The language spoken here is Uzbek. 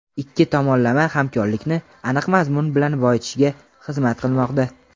ikki tomonlama hamkorlikni aniq mazmun bilan boyitishga xizmat qilmoqda.